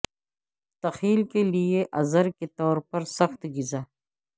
تخیل کے لئے عذر کے طور پر سخت غذا